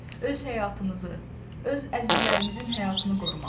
Öz həyatımızı, öz əzizlərimizin həyatını qorumalıyıq.